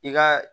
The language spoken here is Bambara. I ka